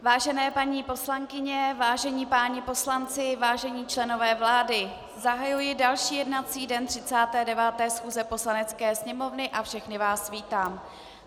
Vážené paní poslankyně, vážení páni poslanci, vážení členové vlády, zahajuji další jednací den 39. schůze Poslanecké sněmovny a všechny vás vítám.